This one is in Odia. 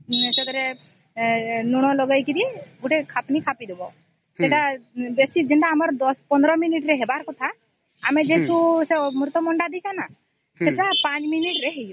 ସେଥିରେ ଲୁଣ ଲଗେଇକରି ଗୋଟେ ଖପନୀ ଖାପି ଦବ ସେଟା ଯୋଉ ୧୦୧୫ ମିନିଟ ରେ ହବାର କଥା ଆମେ ଯୋଉ ଅମୃତ ଭଣ୍ଡା ଦେଇଛେ ନ ସେଟା ୫ ମିନିଟ ରେ ହେଇଯିବ